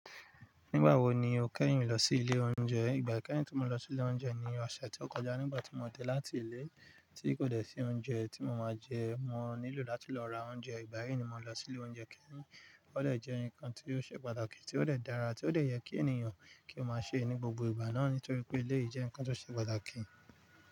Nígbà wo ni o kẹ́yìn lọ sí ilé oúnjẹ? Ìgbà kẹ́yìn tí mo lọ sí ilé oúnjẹ ni ọ̀sẹ̀ tí ó kọjá nígbà tí mo de láti ilé tí kò dẹ́ sí oúnjẹ tí mo máa jẹ, mo nílò láti lọ ra oúnjẹ. Ìgbà yìí ni mo lọ sí ilé oúnjẹ kẹ́yìn. Ó de jẹ́ ǹkan tí ó ṣe pàtàkì, tí ó de dára, tí ó de yẹ kí ènìyàn kí ó máa ṣe ní gbogbo ìgbà náà nítorí pé eléyi jẹ́ ǹkan tó ṣe pàtàkì.